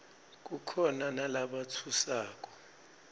kukhona nalatfusako